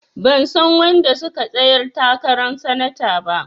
Ban san wanda suka tsayar takaran sanata ba.